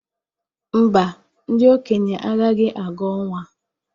mba, ndị okenye agaghị aga ọnwa.